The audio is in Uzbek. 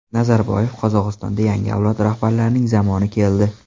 Nazarboyev: Qozog‘istonda yangi avlod rahbarlarining zamoni keldi.